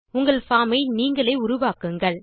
உங்கள் பார்ம் ஐ நீங்களே உருவாக்குங்கள்